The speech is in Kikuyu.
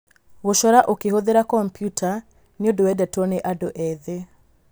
Gũcora ũkĩhũthĩra kompiuta nĩ ũndũ wendetwo nĩ andũ ethĩ.